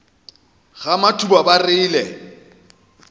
ga matuba ba re le